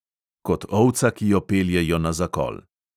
Kot ovca, ki jo peljejo na zakol.